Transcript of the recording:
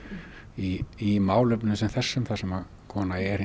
í málefnum sem þessum sem kona er